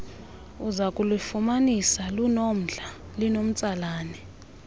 uzakulufumanisa lunomdla linomtsalane